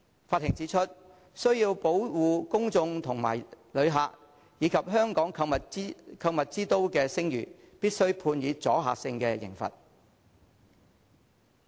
法庭指出需要保護公眾和旅客，以及香港購物之都的聲譽，必須判以阻嚇性刑罰。